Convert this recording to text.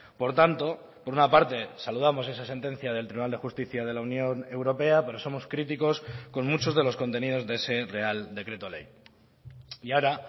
por tanto por una parte saludamos esa sentencia del tribunal de justicia de la unión europea pero somos críticos con muchos de los contenidos de ese real decreto ley y ahora